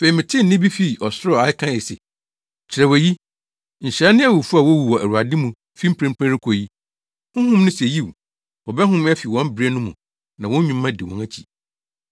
Afei metee nne bi fii ɔsoro a ɛkae se, “Kyerɛw eyi. Nhyira ne awufo a wowu wɔ Awurade mu fi mprempren rekɔ yi.” Honhom no se, “Yiw, wɔbɛhome afi wɔn brɛ no mu; na wɔn nnwuma di wɔn akyi.”